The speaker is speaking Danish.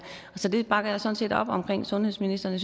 så jeg bakker sådan set op om sundhedsministeren